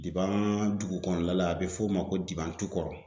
Diban dugu kɔnɔna la a bɛ f'o ma ko Diban tu